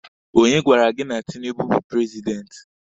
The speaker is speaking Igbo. Onye gwara gị na Tinibu bu prezidenti?